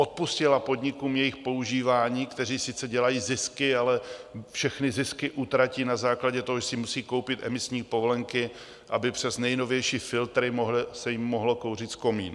Odpustila podnikům jejich používání, které sice dělají zisky, ale všechny zisky utratí na základě toho, že si musí koupit emisní povolenky, aby přes nejnovější filtry se jim mohlo kouřit z komína?